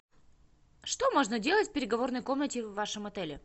что можно делать в переговорной комнате в вашем отеле